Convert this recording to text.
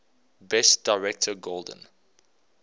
best director golden